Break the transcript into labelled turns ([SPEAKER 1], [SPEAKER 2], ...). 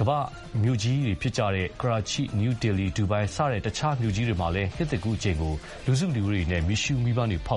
[SPEAKER 1] အခြားကမ္ဘာ့မြို့ကြီးတွေဖြစ်ကြတဲ့ ကရာချိ၊ နယူးဒေလီ၊ ဒူဘိုင်း စတဲ့ မြို့ကြီးတွေမှာလည်း နှစ်သစ်ကူးအချိန်ကို လူစုလူဝေးတွေနဲ့ မီးရှ
[SPEAKER 2] ုးမီးပန်းဖောက်